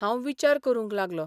हांव विचार करूंक लागलों.